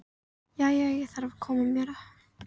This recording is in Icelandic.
Jæja, ég þarf að fara að koma mér heim